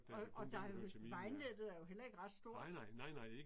Og og der er jo, vejnettet er jo heller ikke ret stort